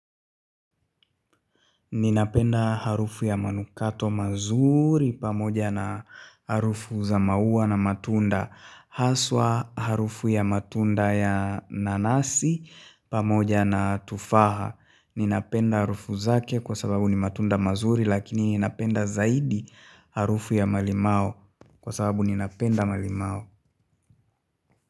Ninapenda harufu ya manukato mazuri pamoja na harufu za maua na matunda. Haswa harufu ya matunda ya nanasi pamoja na tufaha. Ninapenda harufu zake kwa sababu ni matunda mazuri lakini ninapenda zaidi harufu ya malimao kwa sababu ninapenda malimao.